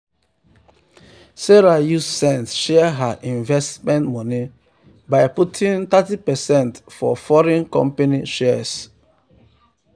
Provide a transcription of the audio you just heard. sarah use sense share her investment money by putting thirty percent for foreign company shares.